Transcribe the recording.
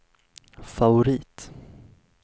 favorit